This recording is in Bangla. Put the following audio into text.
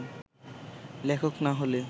লেখক না হলে